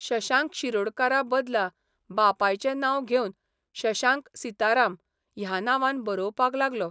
शशांक शिरोडकारा बदला बापायचें नांव घेवन शशांक सीताराम ह्या नांवान बरोवपाक लागलो.